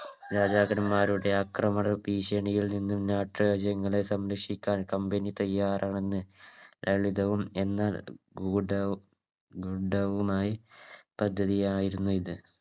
രാജാക്കന്മാരുടെ അക്രമ ഭീക്ഷണിയിൽ നിന്നും നാട്ടുരാജ്യങ്ങളെ സംരക്ഷിക്കാൻ Company തയ്യാറാണെന്ന് ലളിതവും എന്നാൽ ഗൂഢ ഗൂഢവുമായി പദ്ധതിയായിരുന്നു ഇത്